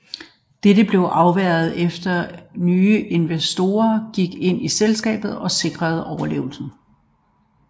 Dette blev afværget efter at nye investorer gik ind i selskabet og sikrede overlevelsen